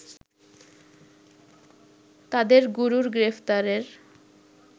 তাদের গুরুর গ্রেফতারের